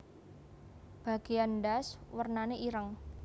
Bagéan ndas wernané ireng